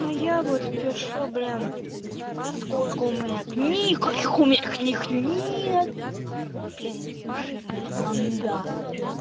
а я вот пишу блин сколько у меня книг каких книг у меня нет блин жирная манда